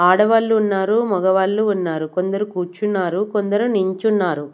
ఆడవాళ్ళు ఉన్నారు మగవాళ్ళు ఉన్నారు కొందరు కూర్చున్నారు కొందరు నించున్నారు.